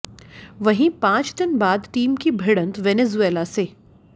वहीं पांच दिन बाद टीम की भिड़ंत वेनेजुएला से